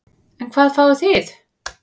En hvað fáið þið?